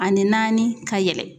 Ani naani ka yɛlɛ